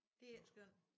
Det er ikke skønt